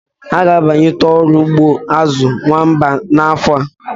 Ha ga-amalite ọrụ ugbo azu nwamba n'afọ a.